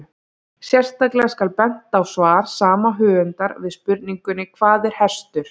Sérstaklega skal bent á svar sama höfundar við spurningunni Hvað er hestur?